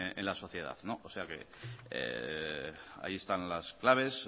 en la sociedad o sea que ahí están las claves